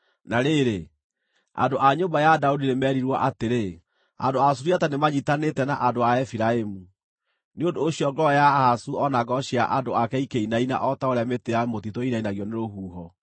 Na rĩrĩ, andũ a nyũmba ya Daudi nĩ meerirwo atĩrĩ, “Andũ a Suriata nĩmanyiitanĩte na andũ a Efiraimu”; nĩ ũndũ ũcio ngoro ya Ahazu o na ngoro cia andũ ake ikĩinaina o ta ũrĩa mĩtĩ ya mũtitũ ĩinainagio nĩ rũhuho.